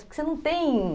Porque você não tem...